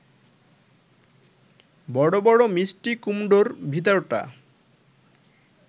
বড় বড় মিষ্টি কুমড়োর ভেতরটা